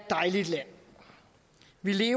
vi er